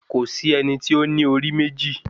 Kò sí ẹni tí ó ní orí méjì